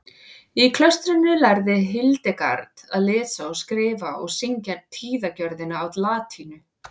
í klaustrinu lærði hildegard að lesa og skrifa og syngja tíðagjörðina á latínu